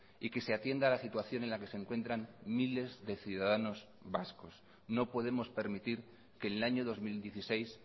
y que se atienda la situación en la que se encuentran miles de ciudadanos vascos no podemos permitir que en el año dos mil dieciséis